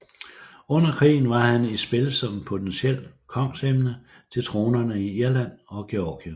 Under krigen var han i spil som potentielt kongsemne til tronerne i Irland og Georgien